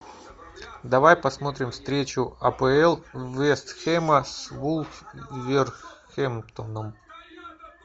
давай посмотрим встречу апл вест хэма с вулверхэмптоном